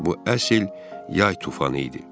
Bu əsl yay tufanı idi.